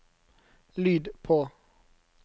lyd på